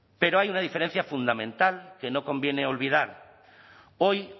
pero hay una diferencia fundamental que no conviene olvidar hoy